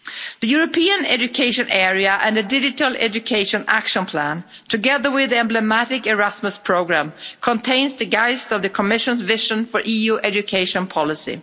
The European Education Area and the Digital Education Action Plan, together with the emblematic Erasmus Programme, contains the geist of the Commission's vision for EU education policy.